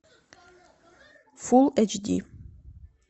фулл эйч ди